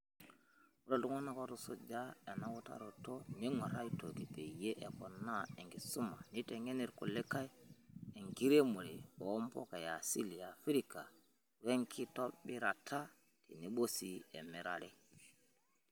Ore iltung'ana otusuja ena utaroto neng'uar aitoki peyie eponaa enkisuma neiteng'en irkulie enkitiremore oo mpuka easili eafrika wenkitobirata tenebo sii emirare.